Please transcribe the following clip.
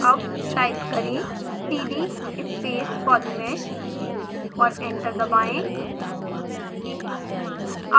अब टाइप करें: cd space polymesh और एंटर दबाएं